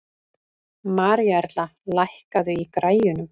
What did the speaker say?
Maríuerla, lækkaðu í græjunum.